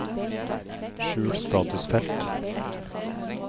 skjul statusfelt